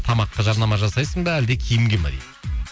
тамаққа жарнама жасайсың ба әлде киімге ме дейді